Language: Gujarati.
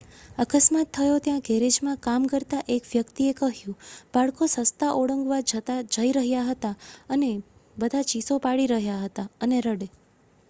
"અકસ્માત થયો ત્યાં ગેરેજમાં કામ કરતા એક વ્યક્તિએ કહ્યું: "બાળકો રસ્તા ઓળંગવા રાહ જોઈ રહ્યા હતા અને બધા ચીસો પાડી રહ્યા હતા અને રડે.""